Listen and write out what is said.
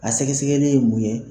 A sɛgɛsɛgɛli ye mun ye.